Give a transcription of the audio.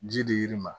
Ji di yiri ma